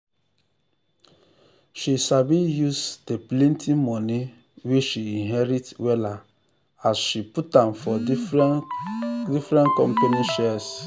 she sabi use de plenty money wey she inherit wella as she put am for different different company shares.